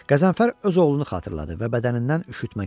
Qəzənfər öz oğlunu xatırladı və bədənindən üşütmə keçdi.